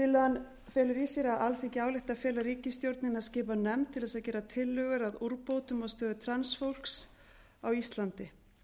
tillagan felur í sér að alþingi ályktar að fela ríkisstjórninni að skipa nefnd til þess að gera tillögur að úrbótum á stöðu transfólks á íslandi